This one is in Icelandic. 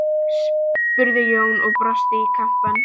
spurði Jón og brosti í kampinn.